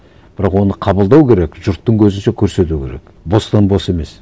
бірақ оны қабылдау керек жұрттың көзінше көрсету керек бостан бос емес